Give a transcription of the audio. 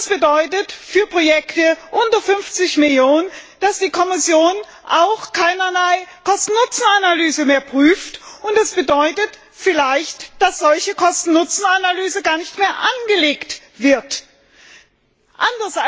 Das bedeutet für Projekte unter 50 Millionen, dass die Kommission auch keinerlei Kosten Nutzen Analyse mehr prüft, und das bedeutet vielleicht, dass eine solche Kosten Nutzen Analyse gar nicht mehr durchgeführt wird.